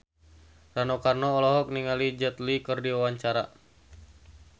Rano Karno olohok ningali Jet Li keur diwawancara